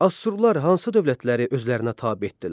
Assurlar hansı dövlətləri özlərinə tabe etdilər?